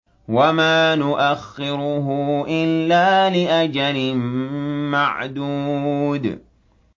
وَمَا نُؤَخِّرُهُ إِلَّا لِأَجَلٍ مَّعْدُودٍ